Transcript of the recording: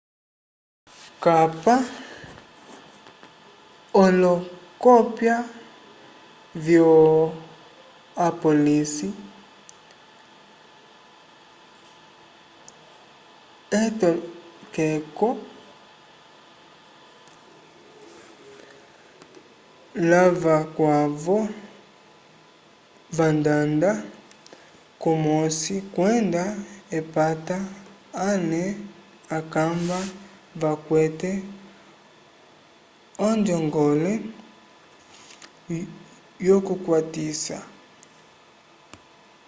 kapa olokopya vyo apólice/etokeko lavakwavo vandanda kumosi kwenda epata ale akamba vakwete onjongole yokukwatisa